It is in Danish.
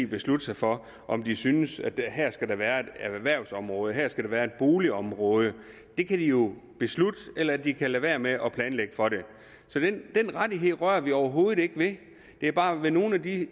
beslutte sig for om de synes at her skal der være et erhvervsområde at her skal der være et boligområde det kan de jo beslutte eller de kan lade være med at planlægge for det så den rettighed rører vi overhovedet ikke ved det er bare ved nogle af de